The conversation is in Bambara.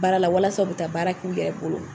Baara la walasa u bɛ taa baara k'u yɛrɛ bolo